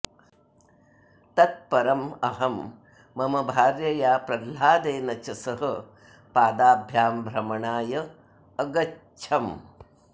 तत् परम् अहं मम भार्यया प्रह्लादेन च सह पादाभ्यां भ्रमणाय अगच्छम्